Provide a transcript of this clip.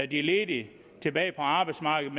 de ledige tilbage på arbejdsmarkedet